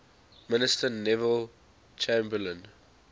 minister neville chamberlain